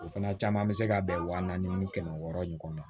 O fana caman be se ka bɛn wa naani ni kɛmɛ wɔɔrɔ ɲɔgɔn na